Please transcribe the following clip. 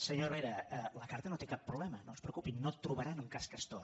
senyor herrera la carta no té cap problema no es preocupin no trobaran un cas castor